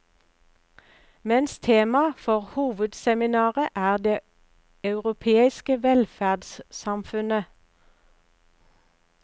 Mens tema for hovedseminaret er det europeiske velferdssamfunnet.